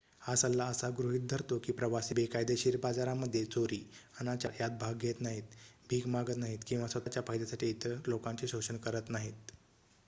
हा सल्ला असा गृहित धरतो की प्रवासी बेकायदेशीर बाजारामध्ये चोरी अनाचार यात भाग घेत नाहीत भीक मागत नाहीत किंवा स्वतःच्या फायद्यासाठी इतर लोकांचे शोषण करत नाहीत